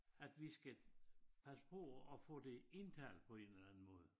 At vi skal have sprog og få det indtalt på en eller anden måde